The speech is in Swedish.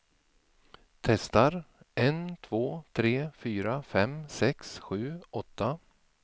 Testar en två tre fyra fem sex sju åtta.